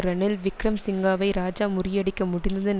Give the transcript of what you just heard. ரனில் விக்கிரமசிங்காவை இராஜா முறியடிக்க முடிந்ததின்